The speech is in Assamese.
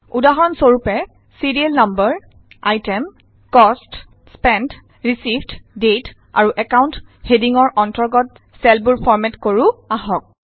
উদাহৰণ স্বৰূপে serial number item cost spent received date আৰু একাউন্ট হেডিঙৰ অন্তৰ্গত চেলবোৰ ফৰ্মেট কৰো আহক